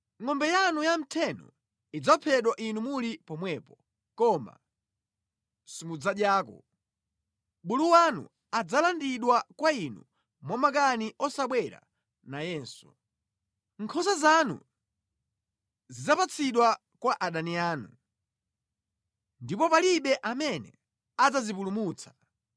Ngʼombe yanu yamtheno idzaphedwa inu muli pomwepo koma simudzadyako. Bulu wanu adzalandidwa kwa inu mwamakani osabwera nayenso. Nkhosa zanu zidzapatsidwa kwa adani anu, ndipo palibe amene adzazipulumutsa.